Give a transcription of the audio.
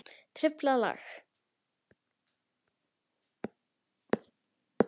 Truflað lag.